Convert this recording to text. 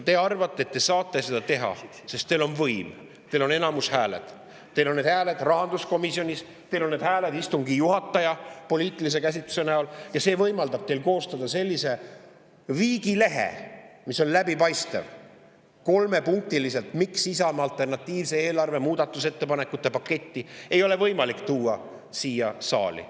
Te arvate, et te saate seda teha, sest teil on võim, teil on häälteenamus, teil on häälte rahanduskomisjonis, teil on häälte istungi juhataja näol, kelle poliitiline käsitlus võimaldab teil koostada sellise kolmepunktilise viigilehe, mis on läbipaistev, miks Isamaa alternatiivse eelarve muudatusettepanekute paketti ei ole võimalik tuua siia saali.